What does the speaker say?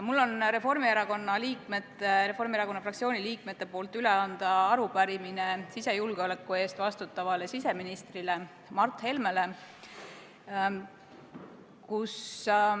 Mul on Reformierakonna fraktsiooni liikmete poolt üle anda arupärimine sisejulgeoleku eest vastutavale siseministrile Mart Helmele.